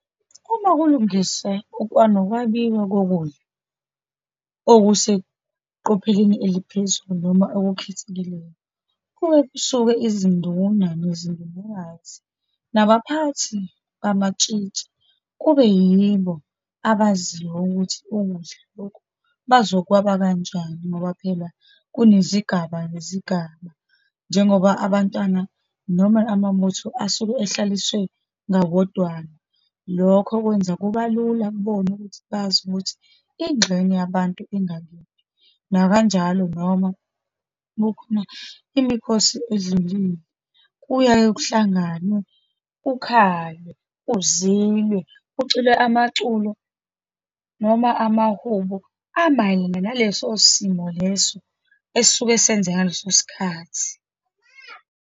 Uma kulungise nokwabiwa kokudla okuseqopheleni eliphezulu, noma okukhethekileyo, kuke kusuke izinduna nezindunakazi, nabaphathi bamatshitshi, kube yibo abaziyo ukuthi ukudla lokhu bazokwaba kanjani, ngoba phela kunezigaba ngezigaba, njengoba abantwana, noma amabutho asuke ehlaliswe ngayodwana. Lokho kwenza kuba lula kubona ukuthi bazi ukuthi ingxenye yabantu ingalindi. Nakanjalo noma kukhona imikhosi edlulile, kuyaye kuhlanganwe, kukhalwe, kuzilwe, kuculwe amaculo, noma amahubo amayelana naleso simo leso esisuke senzeka ngaleso sikhathi.